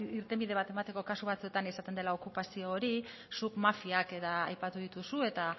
irtenbide bat emateko kasu batzuetan izaten dela okupazio hori zuk mafiak eta aipatu dituzu eta